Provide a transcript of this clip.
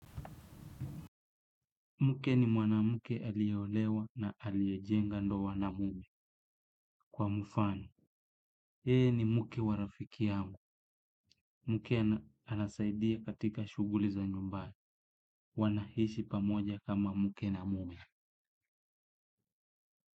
Mke ni mwanamke aliyeolewa na aliyejenga ndoa na mume kwa mfano. Yeye ni mke wa rafiki yangu. Mke anasaidia katika shughuli za nyumbani. Wanaishi pamoja kama mke na mumi.